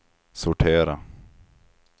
sortera